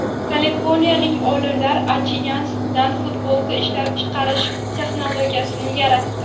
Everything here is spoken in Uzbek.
Kaliforniyalik olimlar achigan sutdan futbolka ishlab chiqarish texnologiyasini yaratdi.